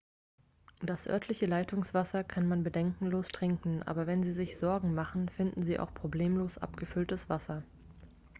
das örtliche leitungswasser kann man bedenkenlos trinken aber wenn sie sich sorgen machen finden sie auch problemlos abgefülltes wasser